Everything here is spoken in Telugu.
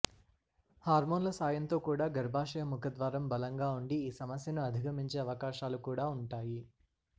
హార్మోన్ల సాయంతో కూడా గర్భాశయ ముఖద్వారం బలంగా ఉండి ఈ సమస్యను అధిగమించే అవకాశాలు కూడా ఉంటాయి